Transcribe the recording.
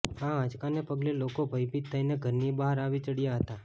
આ આંચકાને પગલે લોકો ભયભીત થઇને ઘરની બહાર આવી ચડ્યા હતા